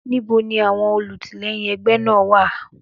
Níbo ni àwọn olùtìlẹ́yìn ẹgbẹ́ náà wà?